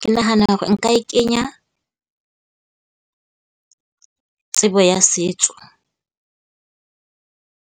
Ke nahana hore nka e kenya tsebo ya setso